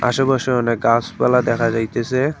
আশেপাশে অনেক গাসপালা দেখা যাইতেসে।